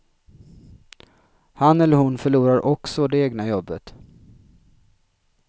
Han eller hon förlorar också det egna jobbet.